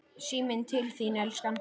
Síminn til þín, elskan!